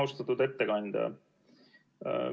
Austatud ettekandja!